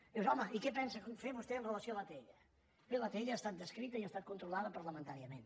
i dius home i què pensa fer vostè amb relació a l’atll bé l’atll ha estat descrita i ha estat controlada parlamentàriament